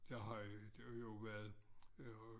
Der har jo været øh